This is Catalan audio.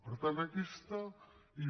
per tant aquesta és